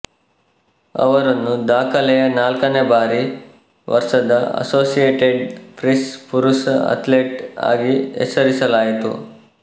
ಅವರನ್ನು ದಾಖಲೆಯ ನಾಲ್ಕನೇ ಬಾರಿ ವರ್ಷದ ಅಸೋಸಿಯೇಟೆಡ್ ಪ್ರೆಸ್ ಪುರುಷ ಅಥ್ಲೇಟ್ ಆಗಿ ಹೆಸರಿಸಲಾಯಿತು